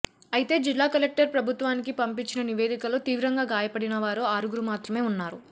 అయితే జిల్లా కలెక్టర్ ప్రభుత్వానికి పంపించిన నివేదికలో తీవ్రంగా గాయపడినవారు ఆరుగురు మాత్రమే ఉన్నారు